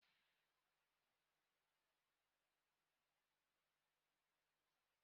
Ndị mmadụ na-atụ egwu na ndị mmadụ ga-anwụ ma ọchịchị agha abịa.